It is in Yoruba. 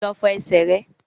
Lọ fọ ẹsẹ̀ rẹ!